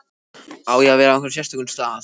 Á ég að vera á einhverjum sérstökum stað?